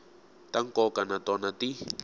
ta nkoka na tona ti